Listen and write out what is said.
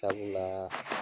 Sabulaa